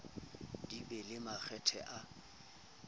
di be le makgetha a